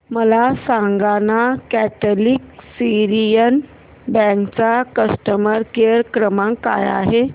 मला सांगाना Catholic Syrian bank चा कस्टमर केअर क्रमांक काय आहे